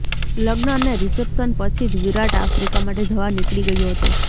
લગ્ન અને રિસેપ્શન પછી જ વિરાટ આફ્રિકા માટે જવા નીકળી ગયો હતો